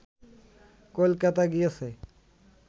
কলকাতা গিয়েছে